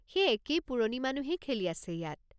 সেই একেই পুৰণি মানুহেই খেলি আছে ইয়াত।